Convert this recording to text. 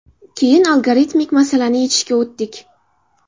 Keyin algoritmik masalani yechishga o‘tdik.